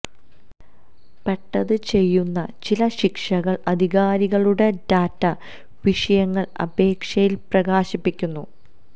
പ്പെട്ടത് ചെയ്യുന്നു ചില ശിക്ഷകൾ അധികാരികളുടെ ഡാറ്റ വിഷയങ്ങൾ അപേക്ഷയിൽ പ്രകാശിപ്പിക്കുന്ന